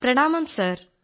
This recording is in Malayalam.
പ്രണാമം സർ